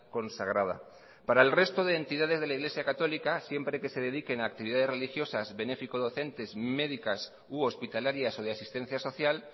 consagrada para el resto de entidades de la iglesia católica siempre que se dediquen a actividades religiosas benéfico docentes médicas u hospitalarias o de asistencia social